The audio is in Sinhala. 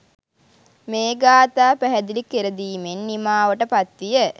මේ ගාථා පැහැදිලි කරදීමෙන් නිමාවට පත්විය.